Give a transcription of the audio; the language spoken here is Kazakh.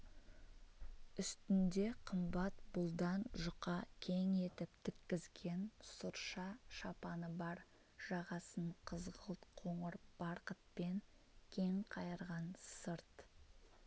үстінде қымбат бұлдан жұқа кең етіп тіккізген сұрша шапаны бар жағасын қызғылт қоңыр барқытпен кеңқайырған сырт